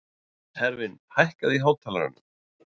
Hervin, hækkaðu í hátalaranum.